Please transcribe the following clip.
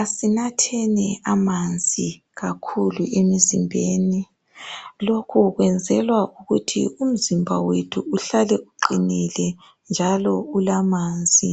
Asinatheni amanzi kakhulu emizimbeni .Lokhu kwenzelwa ukuthi umzimba wethu uhlale uqinile njalo ulamanzi